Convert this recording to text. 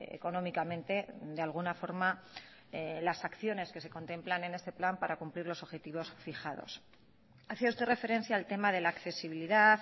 económicamente de alguna forma las acciones que se contemplan en este plan para cumplir los objetivos fijados hacía usted referencia al tema de la accesibilidad